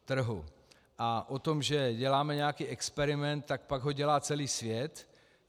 A o tom, že děláme nějaký experiment - tak pak ho dělá celý svět.